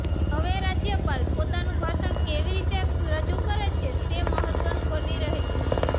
હવે રાજ્યપાલ પોતાનું ભાષણ કેવી રીતે રજૂ કરે છે તે મહત્વનું બની રહે છે